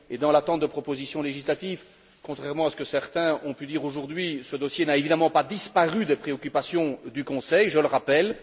Dans l'attente de propositions législatives, contrairement à ce que certains ont pu dire aujourd'hui, ce dossier n'a évidemment pas disparu des préoccupations du Conseil, je le rappelle.